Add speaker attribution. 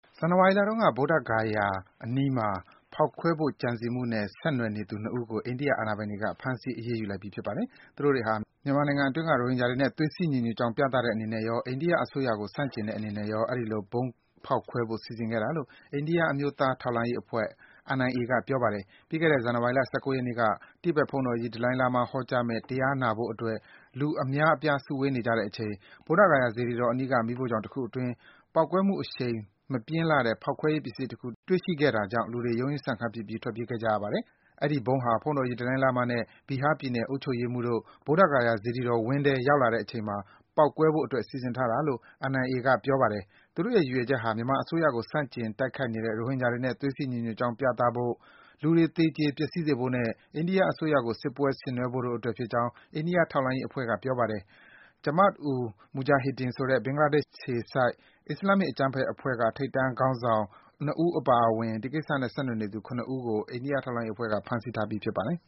Speaker 1: ဇန်နဝါရီလတုန်းက ဗုဒ္ဓဂါယာအနီးမှာ ဗုံးဖောက်ခွဲဖို့ ကြံစည်ခဲ့မှုနဲ့ ဆက်နွယ်နေသူ ၂ ဦးကို အိန္ဒိယ အာဏာပိုင်တွေက ဖမ်းဆီး အရေးယူလိုက်ပြီ ဖြစ်ပါတယ်။ မြန်မာနိုင်ငံအတွင်းမှာ ရိုဟင်ဂျာတွေဟာ မြန်မာနိုင်ငံအတွင်းက ရိုဟင်ဂျာတွေနဲ့ သွေးစည်း ညီညွတ်ကြောင်း ပြသတဲ့အနေနဲ့ရော၊ အိန္ဒိယအစိုးရကို ဆန့်ကျင်တဲ့အနေနဲ့ရော အဲဒီလို ဗုံးဖောက်ခွဲဖို့ စီစဉ်ခဲ့တာလို့ အိန္ဒိယ အမျိုးသား ထောက်လှမ်းရေးအဖွဲ့ NIA က ပြောပါတယ်။ ပြီးခဲ့တဲ့ ဇန်နဝါရီလ ၁၉ ရက်နေ့က တိဘက်ဘုန်းတော်ကြီး ဒလိုင်းလားမား ဟောကြားမယ့် တရားနာဖို့အတွက် လူအများ စုဝေးနေကြတဲ့အချိန် ဗုဒ္ဓဂါယာစေတီတော်အနီးက မီးဖိုချောင်တခုအတွင်း ပေါက်ကွဲမှုအရှိန် မပြင်းလှတဲ့ ဖောက်ခွဲရေးပစ္စည်းတခု တွေ့ရှိခဲ့တာကြောင့် လူတွေ ရုန်းရင်းဆန်ခတ်ဖြစ်ပြီး ထွက်ပြေးခဲ့ကြရပါတယ်။ အဲဒီဗုံးဟာ ဘုန်းတော်ကြီး ဒလိုင်းလားမားနဲ့ Bihar ပြည်နယ် အုပ်ချုပ်ရေးမှူးတို့ ဗုဒ္ဓဂါယာစေတီတော်ဝင်းထဲ ရောက်လာတဲ့အချိန်မှာ ပေါက်ကွဲဖို့အတွက် စီစဉ်ထားတာလို့ NIA က ပြောပါတယ်။ သူတို့ရဲ့ ရည်ရွယ်ချက်ဟာ မြန်မာအစိုးရကို ဆန့်ကျင် တိုက်ခိုက်နေတဲ့ ရိုဟင်ဂျာတွေနဲ့ သွေးစည်းညီညွတ်ကြောင်း ပြသဖို့၊ လူတွေ သေကြေ ပျက်စီးစေဖို့နဲ့ အိန္ဒိယအစိုးရကို စစ်ပွဲဆင်နွဲဖို့တို့အတွက်ဖြစ်ကြောင်း အိန္ဒိယထောက်လှမ်းရေးအဖွဲ့ NIA က ပြောပါတယ်။ Jamaat-ul-Mujahideen ဆိုတဲ့ ဘင်္ဂလားဒေ့ရှ်အခြေစိုက် အစ္စလာမ်မစ်အကြမ်းဖက်အဖွဲ့က ထိပ်တန်းခေါင်းဆောင် Mohammed Jahidul Islam နဲ့ Sheikh အပါအဝင် ဒီကိစ္စနဲ့ ဆက်နွယ်နေသူ ၇ ဦးကို NIA အဖွဲ့က ဖမ်းဆီးထားပြီ
Speaker 2: း ဖြစ်ပါတယ်